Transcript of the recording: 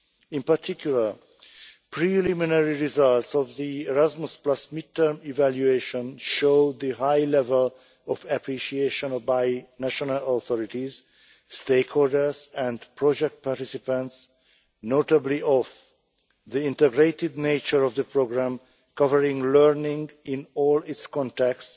In particular, preliminary results of the Erasmus mid-term evaluation show the high level of appreciation by national authorities, stakeholders and project participants, notably of the integrated nature of the programme, covering learning in all its contexts,